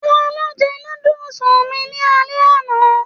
Talo jẹ núdúsí mí ni alẹ́ àna?